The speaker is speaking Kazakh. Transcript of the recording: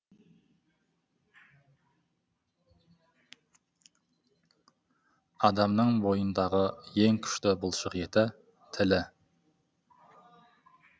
адамның бойындағы ең күшті бұлшық еті тілі